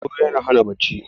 sauro yana Hana bacci